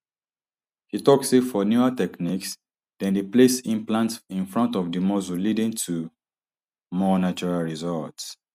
she tok say for newer techniques dem dey place implants in front of di muscle leading to more natural results